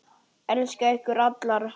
Elska ykkur allar.